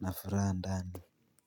na fura ndani.